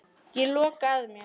Ég loka að mér.